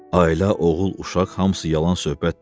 Ailə, oğul, uşaq hamısı yalan söhbətdir.